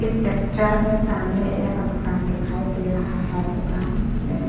इस पिक्चर मे सामने एक दुकान दिखाई दे रहा है। दुकान में --